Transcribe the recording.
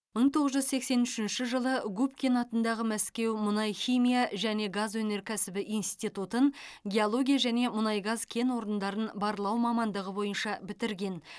мың тоғыз жүз сексен үшінші жылы губкин атындағы мәскеу мұнай химия және газ өнеркәсібі институтын геология және мұнай газ кен орындарын барлау мамандығы бойынша бітірген